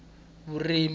vurimi